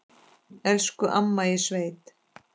Elsku amma í sveit.